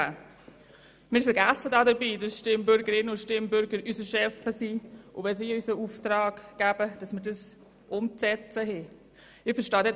Dabei vergessen wir, dass die Stimmbürgerinnen und Stimmbürger unsere Chefs sind und wir Aufträge, die sie uns gegeben haben, umzusetzen haben.